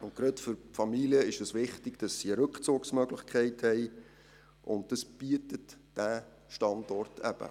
Und gerade für Familien ist es wichtig, dass sie eine Rückzugsmöglichkeit haben, und das bietet dieser Standort eben.